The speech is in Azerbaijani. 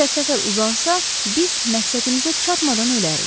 Əgər səfər uzansa, biz məqsədimizə çatmadan ölərrik.